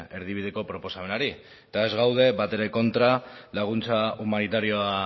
erdibideko proposamenari eta ez gaude batere kontra laguntza humanitarioa